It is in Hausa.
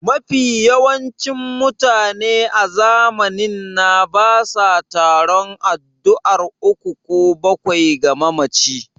Mafi yawancin mutane a zamanin na basa taron addu'ar uku ko bakwai ga mamaci